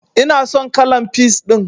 Ina son kalan peas ɗin.